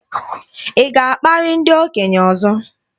Ị ga-akparị ndị okenye ọzọ?